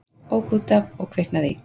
Ók út af og kviknaði í